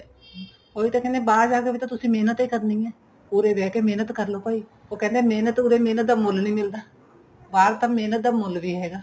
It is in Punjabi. ਉਹੀ ਤਾਂ ਕਹਿੰਦੇ ਤੁਸੀਂ ਬਾਹਰ ਜਾ ਕੇ ਵੀ ਤਾਂ ਤੁਸੀਂ ਮਿਹਨਤ ਈ ਕਰਨੀ ਏ ਉਰੇ ਰਹਿ ਕੇ ਮਿਹਨਤ ਕਰਲੋ ਭਾਈ ਉਹ ਕਹਿੰਦੇ ਏ ਮਹਿਨਤ ਉਰੇ ਮਿਹਨਤ ਦਾ ਮੁੱਲ ਨਹੀਂ ਮਿਲਦਾ ਬਾਹਰ ਤਾਂ ਮਿਹਨਤ ਦਾ ਮੁੱਲ ਵੀ ਹੈਗਾ